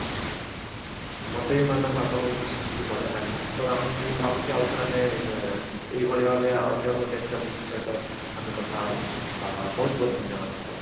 ମୋତେ ବି madam ଆପଣଙ୍କ ଠୁ ଶିଖିକି ବଢିଆ ଲାଗିଲା ତ ଆମେ ମୁଁ ଭାବୁଛି ଆଉଥରେ ଆମେ ଏ ଏଇଭଳି ଭାବେ ଅନ୍ୟଗୋଟେ topic ସହିତ ଆମେ କଥା ହବା ଆ ବହୁତ ବହୁତ ଧନ୍ୟବାଦ madam